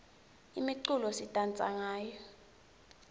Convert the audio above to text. imiculo sidansa ngayo